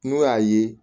N'u y'a ye